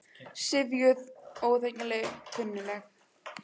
Syfjuð, óþekkjanleg, kunnugleg.